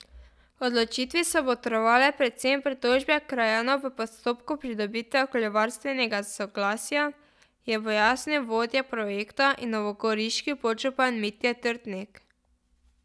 Odločitvi so botrovale predvsem pritožbe krajanov v postopku pridobitve okoljevarstvenega soglasja, je pojasnil vodja projekta in novogoriški podžupan Mitja Trtnik.